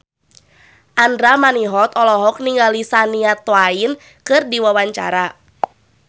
Andra Manihot olohok ningali Shania Twain keur diwawancara